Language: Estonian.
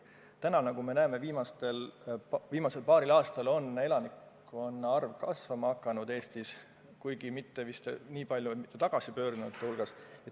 Täna me näeme, et viimasel paaril aastal on elanikkonna arv Eestis kasvama hakanud, kuigi mitte vist niivõrd tagasipöördujate võrra.